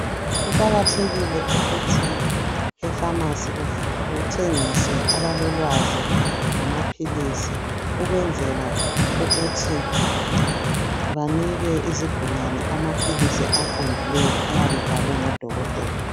Kuqakathekile ukuthi efamasi kuthengise abalolwazi ngamaphilisi ukwenzela ukuthi banike izigulane amaphilisi aqondileyo ayabe ebhalwe ngodokotela.